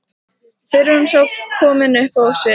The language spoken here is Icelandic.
fyrr en hún er komin upp á svið.